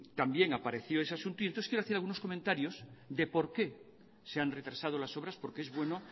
también apareció ese asunto y entonces quiero hacer algunos comentarios de por qué se han retrasado las obras porque es bueno